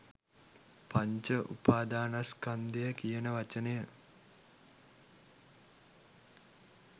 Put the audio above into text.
පංච උපාදනස්කන්ධය කියන වචනය.